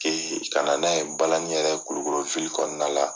ka na n'a ye balani yɛrɛ ye kulukoro kɔnɔna la.